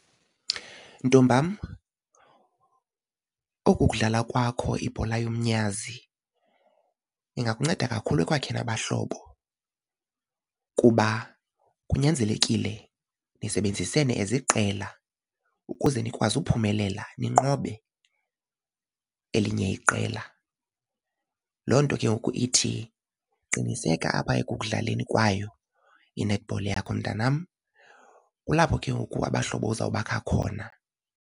Ntombam oku kudlala kwakho ibhola yomnyazi ingakunceda kakhulu ekwakheni abahlobo kuba kunyanzelekile nisebenzisene as iqela ukuze nikwazi ukuphumelela ninqobe elinye iqela. Loo nto ke ngoku ithi qiniseka apha ekudlaleni kwayo i-netball yakho mntanam. Kulapho ke ngoku abahlobo uzawubakha khona.